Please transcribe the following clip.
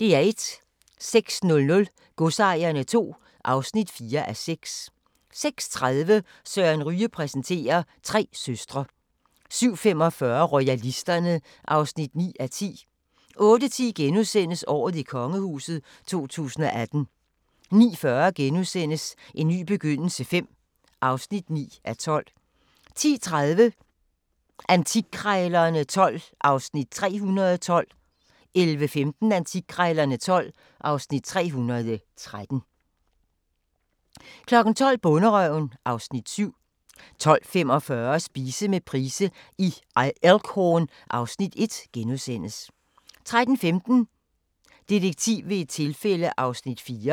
06:00: Godsejerne II (4:6) 06:30: Søren Ryge præsenterer: Tre søstre 07:45: Royalisterne (9:10) 08:10: Året i kongehuset 2018 * 09:40: En ny begyndelse V (9:12)* 10:30: Antikkrejlerne XII (Afs. 312) 11:15: Antikkrejlerne XII (Afs. 313) 12:00: Bonderøven (Afs. 7) 12:45: Spise med Price i Elk Horn (Afs. 1)* 13:15: Detektiv ved et tilfælde (4:8)